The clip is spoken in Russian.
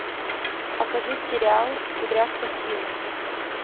покажи сериал кудряшка сью